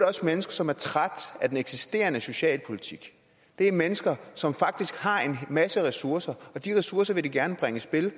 også mennesker som er trætte af den eksisterende socialpolitik det er mennesker som faktisk har en masse ressourcer og de ressourcer vil de gerne bringe i spil